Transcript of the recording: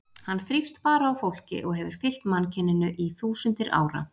Hann þrífst bara á fólki og hefur fylgt mannkyninu í þúsundir ára.